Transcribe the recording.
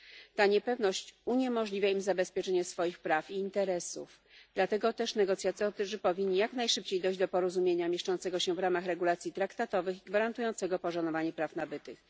Ta niepewność uniemożliwia im zabezpieczenie swoich praw i interesów, dlatego też negocjatorzy powinni jak najszybciej dojść do porozumienia mieszczącego się w ramach regulacji traktatowych i gwarantującego poszanowanie praw nabytych.